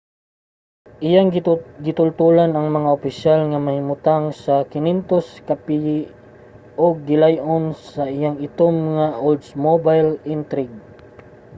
iyang gitultolan ang mga opisyal nga nahimutang mga 500 ka piye ang gilay-on sa iyang itom nga oldsmobile intrigue